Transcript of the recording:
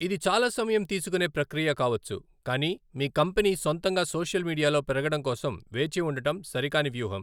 ఇది చాలా సమయం తీసుకునే ప్రక్రియ కావచ్చు, కానీ మీ కంపెనీ సొంతంగా సోషల్ మీడియాలో పెరగడం కోసం వేచి ఉండటం సరికాని వ్యూహం.